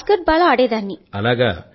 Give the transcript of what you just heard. basketball ఆడేదాన్ని బడి లో